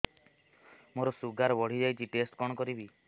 ମୋର ଶୁଗାର ବଢିଯାଇଛି ଟେଷ୍ଟ କଣ କରିବି